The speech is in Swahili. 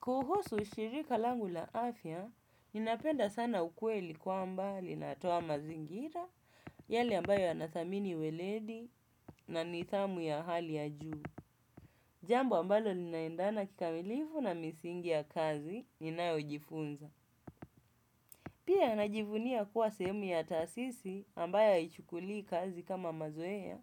Kuhusu shirika langu la afya, ninapenda sana ukweli kwamba linatoa mazingira, yale ambayo yanathamini uweledi na nidhamu ya hali ya juu. Jambo ambalo linaendana kikamilifu na misingi ya kazi, ninayojifunza. Pia najivunia kuwa sehemu ya taasisi ambayo haichukuli kazi kama mazoea,